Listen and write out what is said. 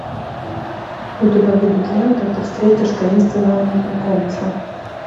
у тебя будет лента ты встретишь таинственного незнакомца